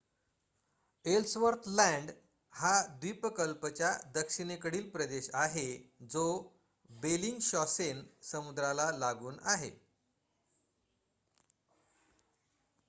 Ellsworth Land हा द्वीपकल्पच्या दक्षिणेकडील प्रदेश आहे जो बेलिंगशॉसेन समुद्राला लागून आहे